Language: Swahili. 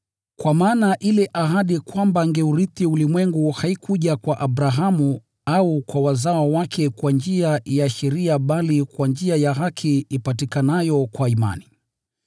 Kwa maana ile ahadi kwamba angeurithi ulimwengu haikuja kwa Abrahamu au kwa wazao wake kwa njia ya sheria bali kwa njia ya haki ipatikanayo kwa imani.